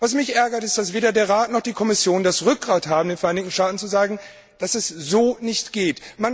Was mich ärgert, ist, dass weder der Rat noch die Kommission das Rückgrat haben, den Vereinigten Staaten zu sagen, dass es so nicht geht.